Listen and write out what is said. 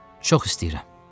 Çox istəyirəm.